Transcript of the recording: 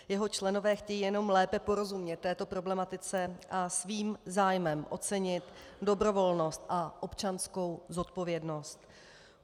Jeho členové chtějí jenom lépe porozumět této problematice a svým zájmem ocenit dobrovolnost a občanskou zodpovědnost.